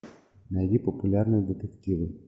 найди популярные детективы